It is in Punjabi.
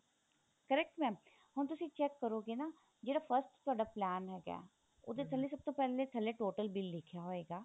correct mam ਹੁਣ ਤੁਸੀਂ check ਕਰੋਗੇ ਨਾ ਜਿਹੜਾ first ਤੁਹਾਡਾ plan ਹੈਗਾ ਉਹਦੇ ਥੱਲੇ ਸਭ ਤੋਂ ਪਹਿਲੇ ਥੱਲੇ total bill ਲਿਖਿਆ ਹੋਏਗਾ